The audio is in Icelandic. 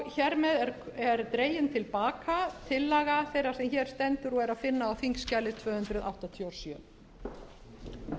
hér með er dregin til baka tillaga þeirrar sem hér stendur og er að finna á þingskjali tvö hundruð áttatíu og sjö